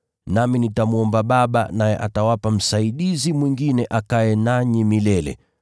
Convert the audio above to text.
Nami nitamwomba Baba, naye atawapa Msaidizi mwingine akae nanyi milele.